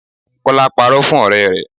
Kola parọ́ fún ọ̀rẹ́ rẹ̀